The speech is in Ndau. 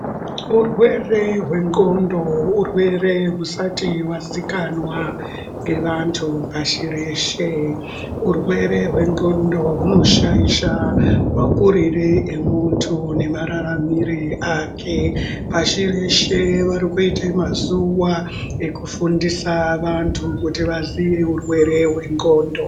Urwere hwendxondo urwere husati hwazikanwa ngevantu pashireshe. Urwere hwendxondo hunoshaisha makurire amuntu nemarara mire ake pashi reshe varikuite mazuwa ekufundisa vantu kuti vazive urwere hwenondxondo.